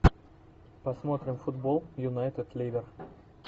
посмотрим футбол юнайтед ливер